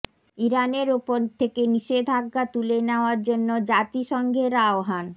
ইরানের ওপর থেকে নিষেধাজ্ঞা তুলে নেয়ার জন্য জাতিসংঘের আহ্বান